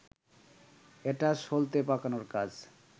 এটা সলতে পাকানোর কাজ